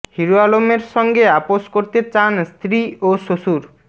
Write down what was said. hero আলমের সঙ্গে আপস করতে চান স্ত্রী ও শ্বশুর